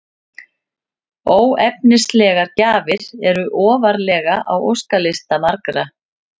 Óefnislegar gjafir eru ofarlega á óskalista margra.